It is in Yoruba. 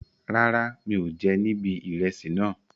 Rárá, mi ò jẹ nibi ìrẹsì náà.